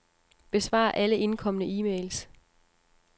Besvar alle indkomne e-mails.